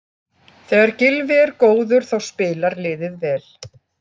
Þegar Gylfi er góður þá spilar liðið vel.